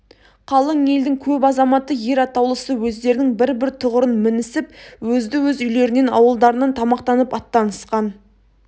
қалың елдің көп азаматы ер атаулысы өздерінің бір-бір тұғырын мінісіп өзді-өз үйлерінен ауылдарынан тамақтанып аттанысқан